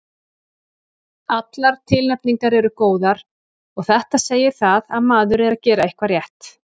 Allar tilnefningar eru góðar og þetta segir það að maður er að gera eitthvað rétt.